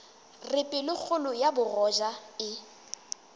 re pelokgolo ya bogoja e